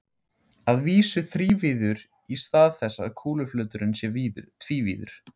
Að vísu þrívíður í stað þess að kúluflöturinn sé tvívíður.